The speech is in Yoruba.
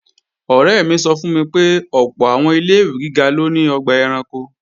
Ọ̀rẹ́ mi sọ fún mi pé ọ̀pọ̀ àwọn ilé-ìwé gíga ló ní ọgbà ẹranko